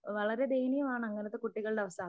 വളരെ ദയനീയമാണ് അങ്ങനത്തെ കുട്ടികളുടെയവസ്ഥ